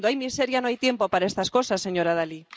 Cuando hay miseria no hay tiempo para estas cosas, señora Dalli.